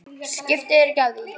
Skiptu þér ekki af því.